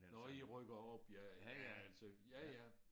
Nåh i rykker op ja altså ja ja